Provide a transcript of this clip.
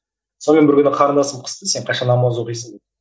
сонымен бір күні қарындасым қысты сен қашан намаз оқисың деп